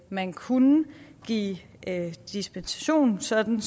man kunne give dispensation sådan